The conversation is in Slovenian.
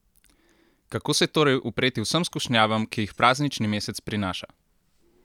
Kako se torej upreti vsem skušnjavam, ki jih praznični mesec prinaša?